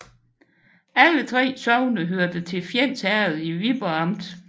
Alle 3 sogne hørte til Fjends Herred i Viborg Amt